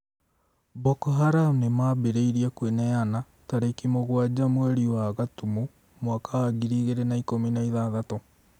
Boko Haram nĩmambĩrĩirie "kwĩneana" tarĩki mũgwanja mweri wa Gatumu mwaka wa ngiri igĩrĩ na ikũmi na ithathatũ